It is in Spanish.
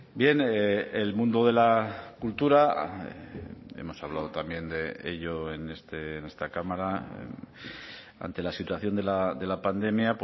bien el mundo de la cultura hemos hablado también de ello en esta cámara ante la situación de la pandemia